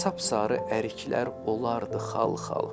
Sapsarı əriklər olardı xal-xal.